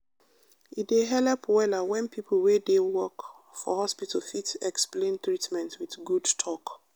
e dey helep wella when people wey dey work for hospital fit explain treatment with good talk.